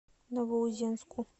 новоузенску